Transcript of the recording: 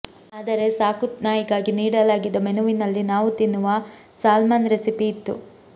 ಆದರೆ ಸಾಕು ನಾಯಿಗಾಗಿ ನೀಡಲಾಗಿದ್ದ ಮೆನುವಿನಲ್ಲಿ ನಾವು ತಿನ್ನುವ ಸಾಲ್ಮನ್ ರೆಸಿಪಿ ಇತ್ತು